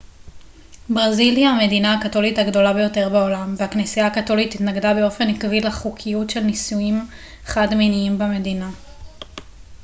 ברזיל היא המדינה הקתולית הגדולה ביותר בעולם והכנסייה הקתולית התנגדה באופן עקבי לחוקיות של נישואים חד-מיניים במדינה